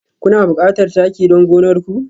Kuna buƙatar taki don gonar ku?